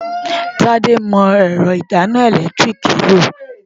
Tádé mọ ẹ̀rọ ìdáná ẹ̀lẹ́tíríìkì lò.